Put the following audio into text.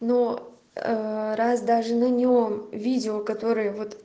но раз даже на нем видео которое вот